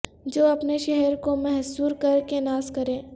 جو اپنے شہر کو محصور کر کے ناز کرے